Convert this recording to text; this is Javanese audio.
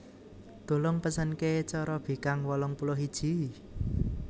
Tulung pesenke corobikang wolong puluh iji